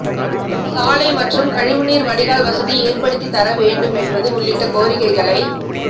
சாலை மற்றும் கழிவுநீர் வடிகால் வசதி ஏற்படுத்தி தர வேண்டும் என்பது உள்ளிட்ட கோரிக்களை